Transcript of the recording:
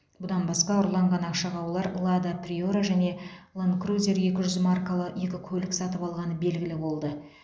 бұдан басқа ұрланған ақшаға олар лада приора және лэнд крузер екі жүз маркалы екі көлік сатып алғаны белгілі болды